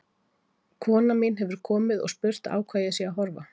Kona mín hefur komið og spurt á hvað ég sé að horfa.